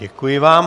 Děkuji vám.